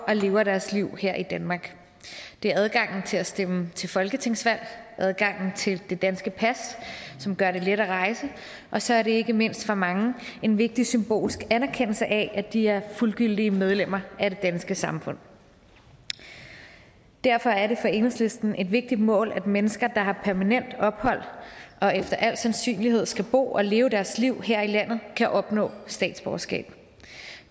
og lever deres liv her i danmark det er adgangen til at stemme til folketingsvalg adgangen til det danske pas som gør det let at rejse og så er det ikke mindst for mange en vigtig symbolsk anerkendelse af at de er fuldgyldige medlemmer af det danske samfund derfor er det for enhedslisten et vigtigt mål at mennesker der har permanent ophold og efter al sandsynlighed skal bo og leve deres liv her i landet kan opnå statsborgerskab